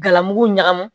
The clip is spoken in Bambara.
Galamugu ɲagami